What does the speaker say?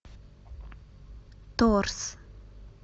торс